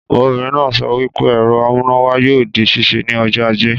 Ọbìnrin naa sọ wípé ẹ̀rọ amúnáwá yoo di ṣíṣe ni ọjọ́ ajé.